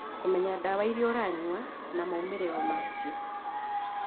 Kũmenya ndawa iria ũranyua na moimĩrĩro ma cio